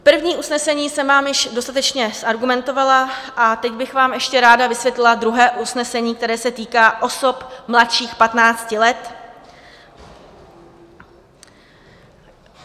První usnesení jsem vám již dostatečně zargumentovala a teď bych vám ještě ráda vysvětlila druhé usnesení, které se týká osob mladších 15 let.